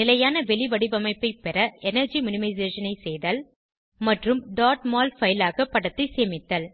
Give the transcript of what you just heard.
நிலையான வெளிவடிவமைப்பை பெற எனர்ஜி மினிமைசேஷன் ஐ செய்தல் மற்றும் mol பைல் ஆக படத்தை சேமித்தல்